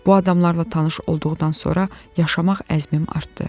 Bu adamlarla tanış olduqdan sonra yaşamaq əzmim artdı.